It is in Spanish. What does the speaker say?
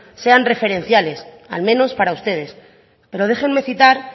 sean referenciales al menos para ustedes pero déjenme citar